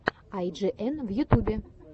ай джи эн в ютюбе